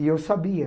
E eu sabia.